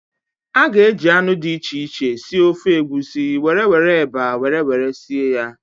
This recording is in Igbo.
A ga-eji anụ dị iche iche sie ofe Egusi were were eba were were sie ya.